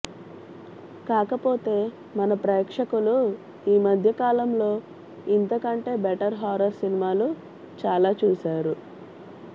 కాకపోతే మన ప్రేక్షకులు ఈమధ్య కాలంలో ఇంతకంటే బెటర్ హారర్ సినిమాలు చాలా చూసారు